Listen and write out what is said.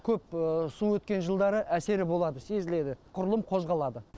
көп су өткен жылдары әсері болады сезіледі құрылым қозғалады